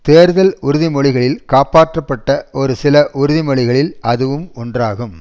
தேர்தல் உறுதிமொழிகளில் காப்பாற்றப்பட்ட ஒரு சில உறுதி மொழிகளில் அதுவும் ஒன்றாகும்